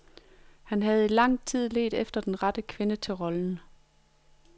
Han havde i lang tid ledt efter den rette kvinde til rollen.